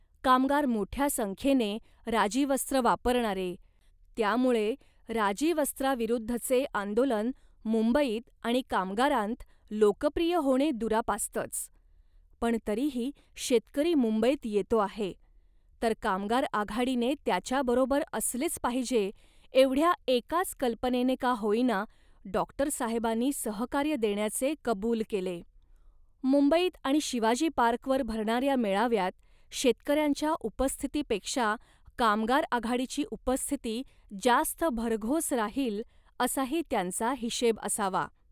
कामगार मोठ्या संख्येने राजीवस्त्र वापरणारे, त्यामुळे राजीवस्त्राविरुद्धचे आंदोलन मुंबईत आणि कामगारांत लोकप्रिय होणे दुरापास्तच, पण तरीही शेतकरी मुंबईत येतो आहे, तर कामगार आघाडीने त्याच्याबरोबर असलेच पाहिजे एवढ्या एकाच कल्पनेने का होईना डॉक्टरसाहेबांनी सहकार्य देण्याचे कबूल केले. मुंबईत आणि शिवाजी पार्कवर भरणाऱ्या मेळाव्यात शेतकऱ्यांच्या उपस्थितीपेक्षा कामगार आघाडीची उपस्थिती जास्त भरघोस राहील असाही त्यांचा हिशेब असावा